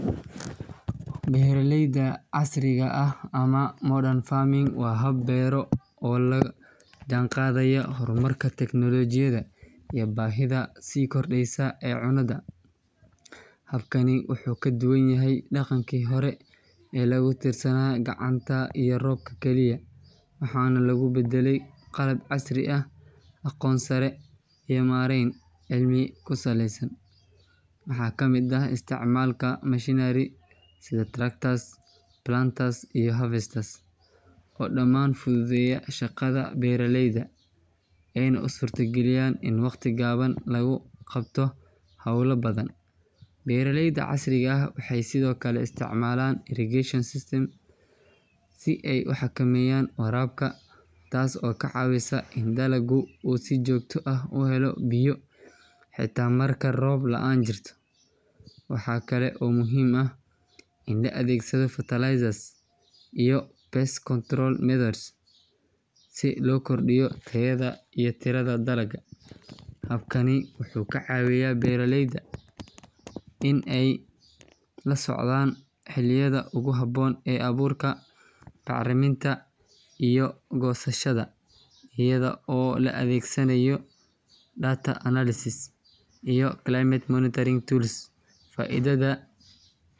Beeralayda casriga ah ama modern farming waa hab beero oo la jaanqaadaya horumarka teknoolajiyadda iyo baahida sii kordheysa ee cunnada. Habkani wuxuu ka duwan yahay dhaqankii hore ee lagu tiirsanaa gacanta iyo roobka kaliya, waxaana lagu beddelay qalab casri ah, aqoon sare iyo maarayn cilmi ku saleysan. Waxaa ka mid ah isticmaalka machinery sida tractors, planters, iyo harvesters oo dhammaan fududeeya shaqada beeraleyda ayna u suurtageliyaan in waqti gaaban lagu qabto hawlo badan. Beeraleyda casriga ah waxay sidoo kale isticmaalaan irrigation systems si ay u xakameeyaan waraabka, taas oo ka caawisa in dalagga uu si joogto ah u helo biyo xitaa marka roob la’aan jirto. Waxaa kale oo muhiim ah in la adeegsado fertilizers iyo pest control methods si loo kordhiyo tayada iyo tirada dalagga. Habkani wuxuu ka caawiyaa beeraleyda in ay la socdaan xilliyada ugu habboon ee abuurka, bacriminta iyo goosashada iyada oo la adeegsanayo data analysis iyo climate monitoring tools. Faa’iidada.